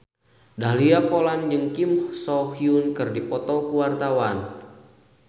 Dahlia Poland jeung Kim So Hyun keur dipoto ku wartawan